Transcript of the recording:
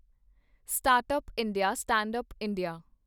startup India, standup India